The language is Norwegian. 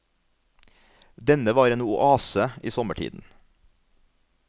Denne var en oase i sommertiden.